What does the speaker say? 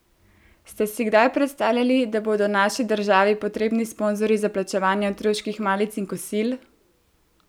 Ste si kdaj predstavljali, da bodo naši državi potrebni sponzorji za plačevanje otroških malic in kosil?